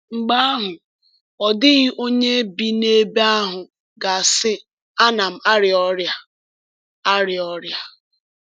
Mgbe ahụ, “ọ dịghị onye bi n’ebe ahụ ga-asị: ‘Ana m arịa ọrịa.’” arịa ọrịa.’”